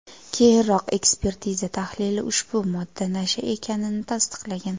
Keyinroq ekspertiza tahlili ushbu modda nasha ekanini tasdiqlagan.